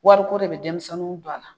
Wariko de bɛ denmisɛnninw don a la